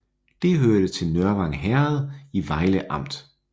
Det hørte til Nørvang Herred i Vejle Amt